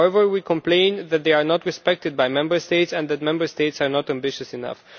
However, we complain that they are not respected by Member States and that Member States are not ambitious enough.